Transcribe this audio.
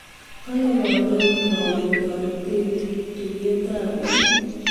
Kale kandoik makon toretet tuiyrtab bik